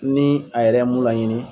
Ni a yɛrɛ ye mun laɲini